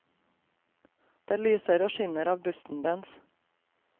Det lyser og skinner av busten dens.